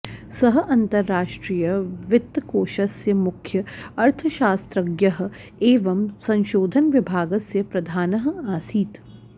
सः अन्तर्राष्ट्रीय वित्तकोषस्य मुख्य अर्थशास्त्रज्ञयः एवम् संशोधन विभागस्य प्रधानः आसीत्